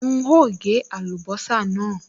N óò gé àlùbọ́sà náà